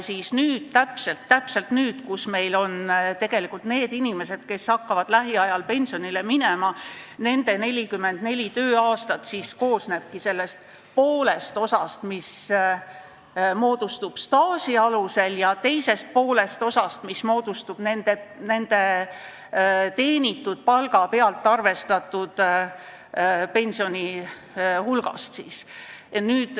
Nendel inimestel, kes hakkavad lähiajal pensionile minema ja kellel on 44 tööaastat, koosneb pension osast, mis moodustub staaži alusel, ja teisest osast, mis on arvestatud nende teenitud palga pealt.